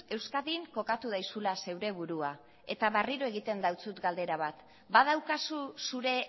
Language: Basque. euskadin kokatu daizula zeure burua eta berriro egiten dautsut galdera bat badaukazu zure